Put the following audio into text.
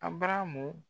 A baramu